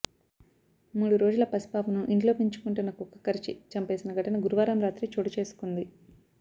మూడు రోజుల పసిపాపను ఇంట్లో పెంచుకుంటున్న కుక్క కరిచి చంపేసిన ఘటన గురువారం రాత్రి చోటు చేసుకుంది